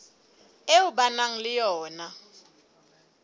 eo ba nang le yona